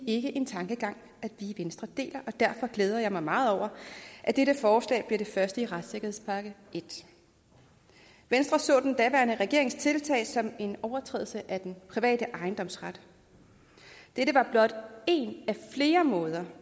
ikke en tankegang som i venstre deler og derfor glæder jeg mig meget over at dette forslag bliver det første i retssikkerhedspakke i venstre så den daværende regerings tiltag som en overtrædelse af den private ejendomsret dette var blot én af flere måder